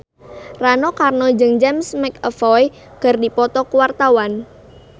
Rano Karno jeung James McAvoy keur dipoto ku wartawan